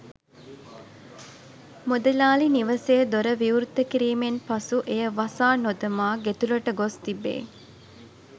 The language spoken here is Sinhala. මුදලාලි නිවසේ දොර විවෘත කිරීමෙන් පසු එය වසා නොදමා ගෙතුළට ගොස්‌ තිබේ.